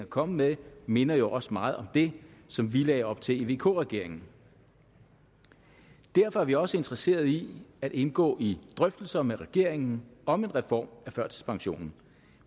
kommet med minder jo også meget om det som vi lagde op til i vk regeringen derfor er vi også interesserede i at indgå i drøftelser med regeringen om en reform af førtidspensionen